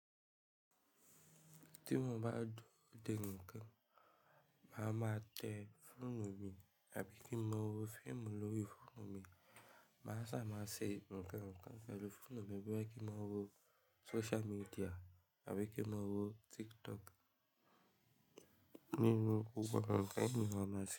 Tí mo bá dùro dé nnkan màá máa tẹ fóònù mi àbí kí n máa wo fíìmù lórí fóònù mi, màá ṣà máa ṣe nnkan nkàn pẹ̀lú fóònù mi bíi kí n máa wo social media àbí kí n máa wo TikTok. Nínú gbogbo àwọn nnkan yìí màá máa ṣe.